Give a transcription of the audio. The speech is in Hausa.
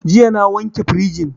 Jiya na wanke firijin